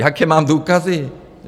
Jaké mám důkazy?